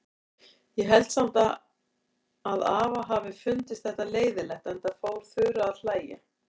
Ég held samt að afa hafi fundist þetta leiðinlegt, enda fór Þura að hlæja.